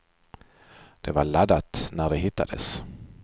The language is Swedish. Det var laddat när det hittades.